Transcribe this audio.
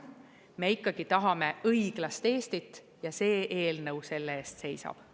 Me ikkagi tahame õiglast Eestit ja see eelnõu selle eest seisab.